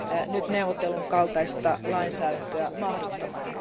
nyt neuvotellun kaltaista lainsäädäntöä mahdottomana.